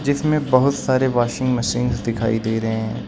जिसमें बहुत सारे वाशिंग मशीन दिखाई दे रहे हैं।